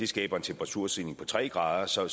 skaber en temperaturstigning på tre grader så